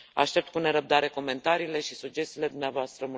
Aștept cu nerăbdare comentariile și sugestiile dumneavoastră.